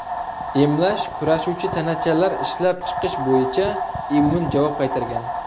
Emlash kurashuvchi tanachalar ishlab chiqish bo‘yicha immun javob qaytargan.